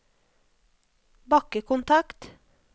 bakkekontakt